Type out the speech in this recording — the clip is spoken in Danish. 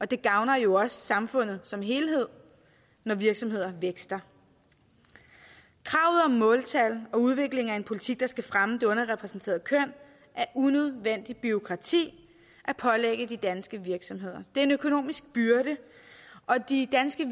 det gavner jo også samfundet som helhed når virksomheder vækster kravet om måltal og udvikling af en politik der skal fremme det underrepræsenterede køn er unødvendigt bureaukrati at pålægge de danske virksomheder det er en økonomisk byrde og de danske